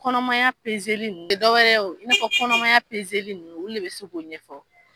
Kɔnɔmaya peze ninnu , o tɛ dɔ wɛrɛ ye i n' ka kɔnɔmaya pezeli ninnu, olu de bɛ se k'o ɲɛfɔ.